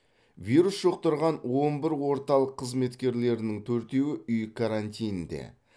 вирус жұқтырған он бір орталық қызметкерлерінің төртеуі үй карантинінде